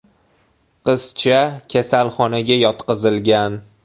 Qizcha kasalxonaga yotqizilgan.